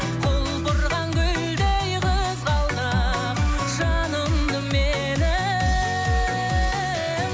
құлпырған гүлдей қызғалдақ жанымды менің